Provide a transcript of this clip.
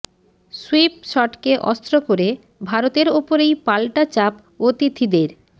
sweep শটকে অস্ত্র করে ভারতের ওপরেই পাল্টা চাপ অতিথিদের